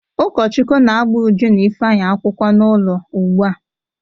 Ụkọchukwu na-agba Uju na Ifeanyị akwụkwọ n'ụlọ ugbua.